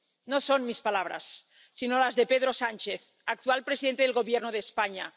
No son mis palabras, sino las de Pedro Sánchez, actual presidente del Gobierno de España.